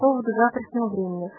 поводу завтрашнего времени